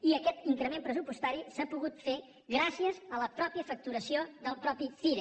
i aquest increment pressupostari s’ha pogut fer gràcies a la facturació del mateix cire